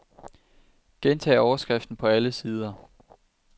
Gentag overskriften på alle sider.